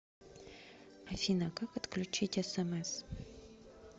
афина как отключить смс